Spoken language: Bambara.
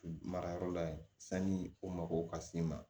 Marayɔrɔ la yen sanni o mago ka s'i ma